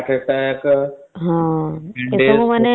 cancer heart attack